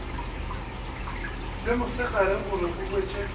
le mosegare gore o hwetše